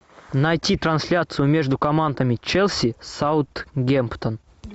найти трансляцию между командами челси саутгемптон